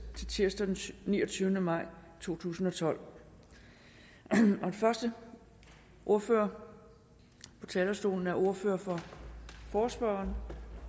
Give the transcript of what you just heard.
til tirsdag den niogtyvende maj to tusind og tolv den første ordfører på talerstolen er ordføreren for forespørgerne